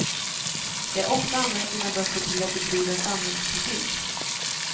De har också använt sina böcker till att bedriva samhällskritik.